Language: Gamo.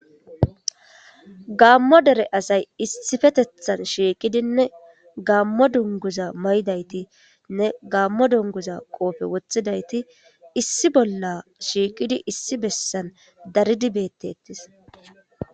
gammo dere asay issifeteththan shiiqidinne gammo dunguza may'daytinne gaammo dunguza qoofe woththidayti issi bolla shiiqidi issi bessan daridi bettetees